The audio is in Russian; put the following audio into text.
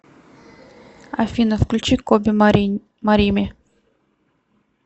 афина включи коби марими